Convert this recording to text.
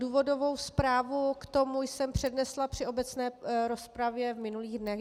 Důvodovou zprávu k tomu jsem přednesla při obecné rozpravě v minulých dnech.